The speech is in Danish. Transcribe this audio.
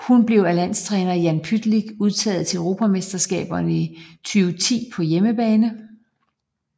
Hun blev af landstræner Jan Pytlick udtaget til Europamesterskaberne 2010 på hjemmebane